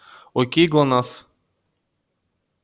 окей глонассс